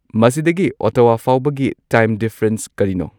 ꯃꯁꯤꯗꯒꯤ ꯑꯣꯠꯇꯥꯋꯥꯐꯥꯎꯕꯒꯤ time difference ꯀꯔꯤꯅꯣ